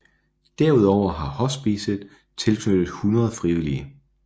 Derudover har hospicet tilknyttet 100 frivillige